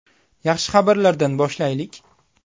Yaxshi xabarlardan boshlaylik.